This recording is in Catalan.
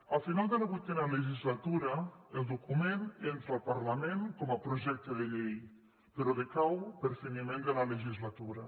a final de la vuitena legislatura el document entra al parlament com a projecte de llei però decau per fi·niment de la legislatura